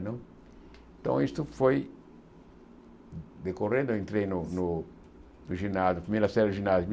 Não então isso foi decorrendo, eu entrei no no no ginásio, primeira série do ginásio